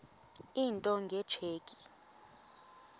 into nge tsheki